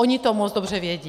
Oni to moc dobře vědí.